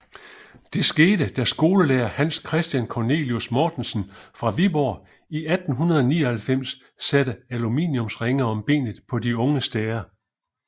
Det skete da skolelærer Hans Christian Cornelius Mortensen fra Viborg i 1899 satte aluminiumsringe om benet på unge stære